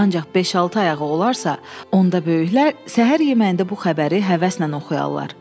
Ancaq beş-altı ayağı olarsa, onda böyüklər səhər yeməyində bu xəbəri həvəslə oxuyarlar.